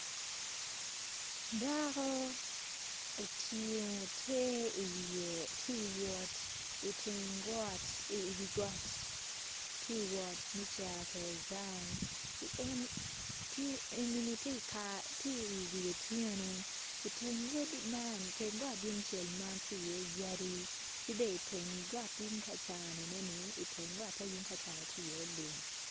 Dako otingo ter i wiye tye ka wot i teng got i wi got tye ka wot me cito gang enini tye i wi otyeno i teng got man tye i ye yadi